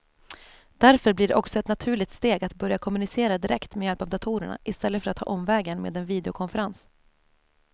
Därför blir det också ett naturligt steg att börja kommunicera direkt med hjälp av datorerna i stället för att ta omvägen med en videokonferens.